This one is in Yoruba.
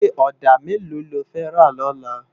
Iké òdá méló ló fè rá lòlá?